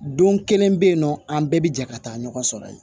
Don kelen bɛ yen nɔ an bɛɛ bɛ jɛ ka taa ɲɔgɔn sɔrɔ yen